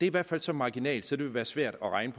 i hvert fald så marginalt så det vil være svært at regne